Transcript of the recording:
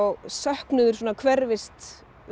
söknuður svona hverfist